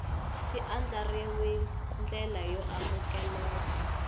xi andlariwil ndlela yo amukeleka